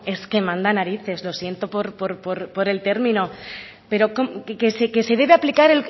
es que manda narices lo siento por el término pero que se debe aplicar